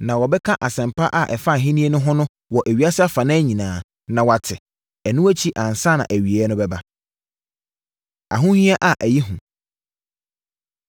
Na wɔbɛka asɛmpa a ɛfa Ahennie no ho no wɔ ewiase afanan nyinaa, na wɔate. Ɛno akyi ansa na awieeɛ no bɛba. Ahohia A Ɛyɛ Hu